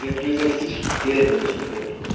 Do exercício pleno da cidadania.